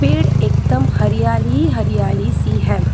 पेड़ एकदम हरियाली हरियाली सी है।